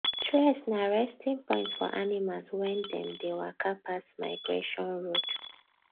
tress na resting point for animals wen them dey waka pass migration road